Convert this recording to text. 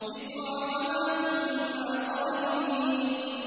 ذِكْرَىٰ وَمَا كُنَّا ظَالِمِينَ